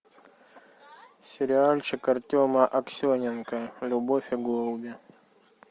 сериальчик артема аксененко любовь и голуби